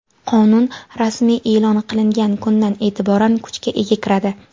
Qonun rasmiy eʼlon qilingan kundan eʼtiboran kuchga ega kiradi.